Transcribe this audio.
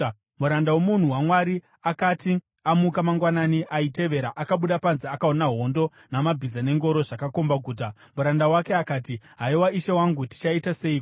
Muranda womunhu waMwari akati amuka mangwanani aitevera, akabuda panze akaona hondo namabhiza nengoro zvakomba guta. Muranda wake akati, “Haiwa, ishe wangu, tichaita seiko?”